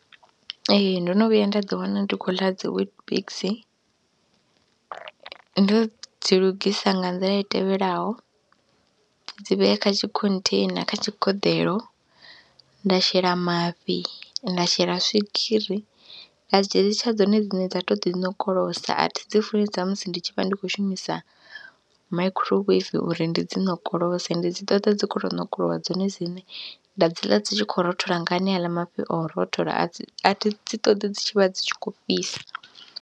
Ee ndo no vhuya nda ḓiwana ndi khou ḽa dzi WeetBix ndo dzi lugisa nga nḓila i tevhelaho, ndi dzi vhea kha tshi khontheina kha tshigeḓeḽo, nda shela mafhi, nda shela swigiri, nda dzi litsha dzone dzine dza tou ḓiṋokolosa a thi dzi funi dza musi ndi tshi vha ndi khou shumisa microwave uri ndi dzi ṋokolose, ndi dzi ṱoḓa dzi khou tou ṋokolowa dzone dzine, nda dzi ḽa dzi tshi khou rothola nga haneaḽa mafhi o rothola a dzi, a thi dzi ṱoḓi dzi tshi vha dzi tshi khou fhisa.